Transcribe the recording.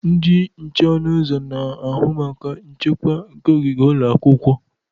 Ndị nche ọnụ ụzọ na-ahụ maka nchekwa nke ogige ụlọ akwụkwọ.